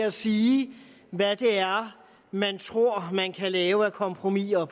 at sige hvad man tror man kan lave af kompromiser